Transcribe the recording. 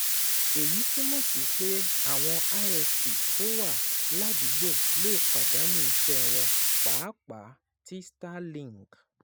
Èyí túmọ̀ sí pé àwọn ISP tó wà ládùúgbò lè pàdánù iṣẹ́ wọn, pàápàá tí Starlink